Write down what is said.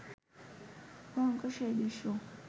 ভয়ঙ্কর সেই দৃশ্য